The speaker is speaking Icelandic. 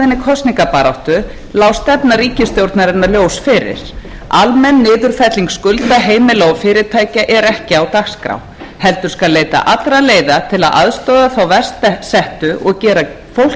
kosningabaráttu lá stefna ríkisstjórnarinnar ljós fyrir almenn niðurfelling skulda heimila og fyrirtækja er ekki á dagskrá heldur skal leita allra leiða til að aðstoða þá verst settu og gera fólki kleift að búa áfram í sínu húsnæði